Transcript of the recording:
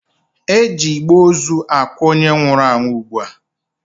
E ji igbe ozu akwa onye nwụrụ anwụ ugbua.